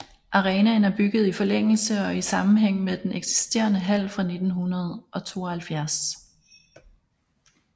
Arenaen er bygget i forlængelse og i sammenhæng med den eksisterende hal fra 1972